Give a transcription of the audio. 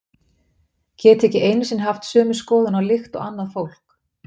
Geti ekki einu sinni haft sömu skoðun á lykt og annað fólk.